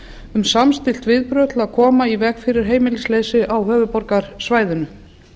um samstillt viðbrögð til að koma í veg fyrir heimilisleysi á höfuðborgarsvæðinu